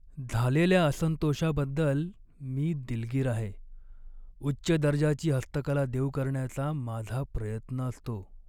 झालेल्या असंतोषाबद्दल मी दिलगीर आहे, उच्च दर्जाची हस्तकला देऊ करण्याचा माझा प्रयत्न असतो.